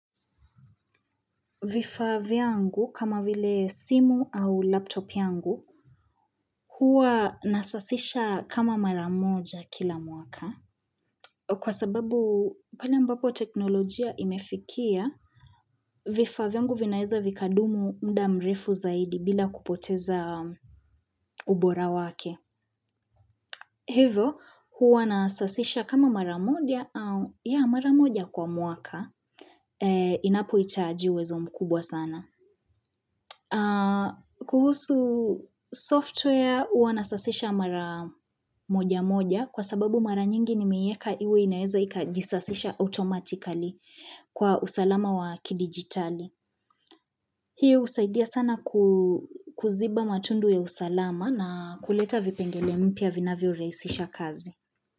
Vifaa vyangu kama vile simu au laptop yangu, huwa nasasisha kama mara moja kila mwaka. Kwa sababu pala mbapo teknolojia imefikia, vifaa vyangu vinaeza vikadumu mda mrefu zaidi bila kupoteza ubora wake. Hivyo, huwa nasasisha kama maramoja au ya maramoja kwa mwaka, inapo itaji uwezo mkubwa sana. Kuhusu software huwa nasasisha mara moja moja kwa sababu mara nyingi ni meiweka iwe inaeza ikajisasisha automatically kwa usalama wa kidigitali. Hiyo usaidia sana kuziba matundu ya usalama na kuleta vipengele mpya vinavyo rahisisha kazi.